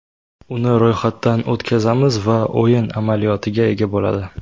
Uni ro‘yxatdan o‘tkazamiz va o‘yin amaliyotiga ega bo‘ladi.